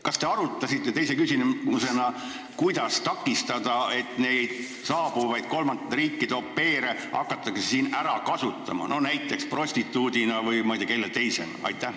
Kas te arutasite teise küsimusena, kuidas takistada seda, et neid kolmandatest riikidest saabuvaid au pair'e ei hakataks siin ära kasutama näiteks prostituudina või ma ei tea kelle teisena?